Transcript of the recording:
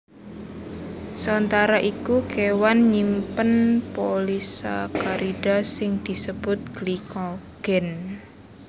Sauntara iku kéwan nyimpen polisakarida sing disebut glikogen